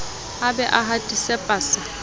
a be a hatise pasa